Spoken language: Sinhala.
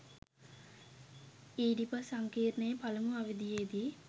ඊඩිපස් සංකීර්ණයේ පළමු අවධියේදී